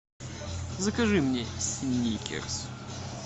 закажи мне сникерс